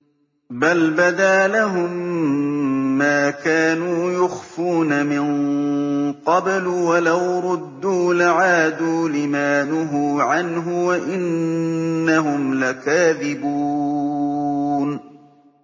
بَلْ بَدَا لَهُم مَّا كَانُوا يُخْفُونَ مِن قَبْلُ ۖ وَلَوْ رُدُّوا لَعَادُوا لِمَا نُهُوا عَنْهُ وَإِنَّهُمْ لَكَاذِبُونَ